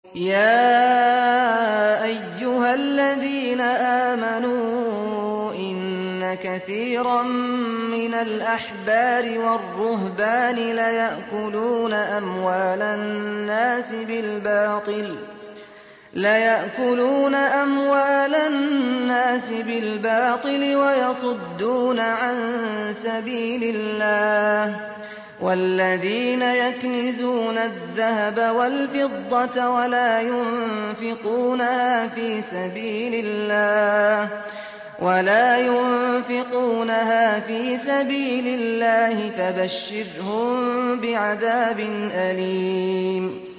۞ يَا أَيُّهَا الَّذِينَ آمَنُوا إِنَّ كَثِيرًا مِّنَ الْأَحْبَارِ وَالرُّهْبَانِ لَيَأْكُلُونَ أَمْوَالَ النَّاسِ بِالْبَاطِلِ وَيَصُدُّونَ عَن سَبِيلِ اللَّهِ ۗ وَالَّذِينَ يَكْنِزُونَ الذَّهَبَ وَالْفِضَّةَ وَلَا يُنفِقُونَهَا فِي سَبِيلِ اللَّهِ فَبَشِّرْهُم بِعَذَابٍ أَلِيمٍ